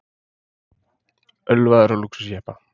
Ölvaður á lúxusjeppa